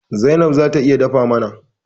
Zainab zata iya dafa mana.